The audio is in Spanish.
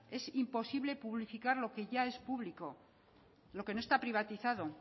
es imposible publificar lo que ya es público lo que no está privatizado